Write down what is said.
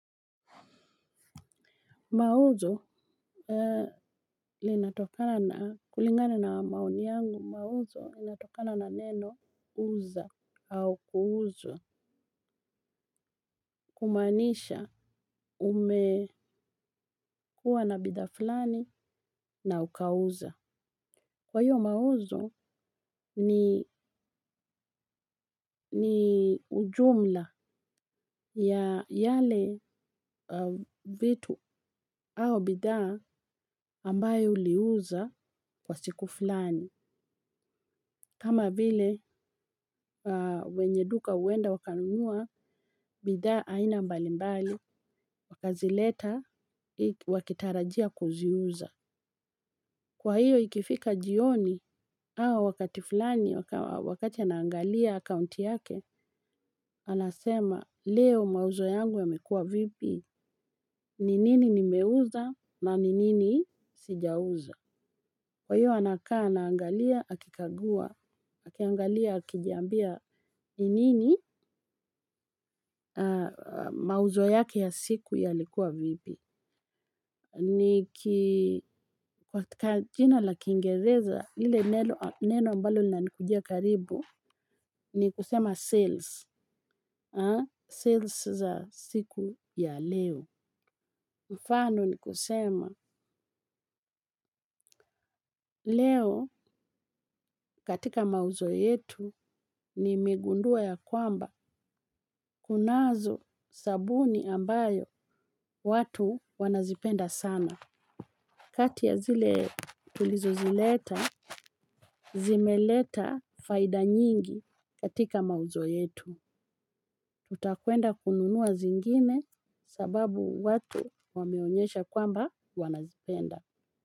Mauzo linatokana na kulingana na maoni yangu mauzo linatokana na neno uza au kuuzwa kumaanisha umekua na bidhaa fulani na ukauza. Kwa hiyo mauzo ni ujumla ya yale vitu au bidhaa ambayo uliuza kwa siku fulani. Kama vile wenye duka huenda wakanunua bidha aina mbalimbali wakazileta wakitarajia kuziuza. Kwa hiyo ikifika jioni hawa wakati fulani wakati anaangalia account yake, anasema leo mauzo yangu yamekua vipi, ni nini nimeuza na ni nini sijauza. Kwa hiyo anakaa anaangalia akikagua, akiaangalia akijiambia ni nini mauzo yake ya siku yalikua vipi. Niki kwa katika jina la kingereza lile neno ambalo linanikujia karibu ni kusema sales sales za siku ya leo. Mfano ni kusema leo katika mauzo yetu nimegundua ya kwamba kunazo sabuni ambayo watu wanazipenda sana. Kati ya zile tulizozileta, zimeleta faida nyingi katika mauzo yetu. Tutakuenda kununua zingine sababu watu wameonyesha kwamba wanazipenda.